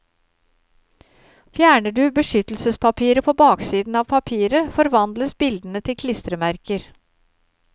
Fjerner du beskyttelsespapiret på baksiden av papiret forvandles bildene til klistremerker.